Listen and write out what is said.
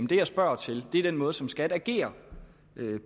det jeg spørger til er den måde som skat agerer